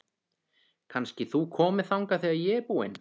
Kannski þú komir þangað þegar ég er búin?